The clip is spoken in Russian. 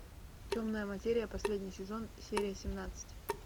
темная материя последний сезон серия семнадцать